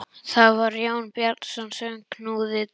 Það var Jón Bjarnason sem knúði dyra.